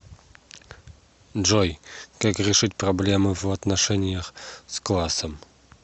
джой как решить проблемы в отношениях с классом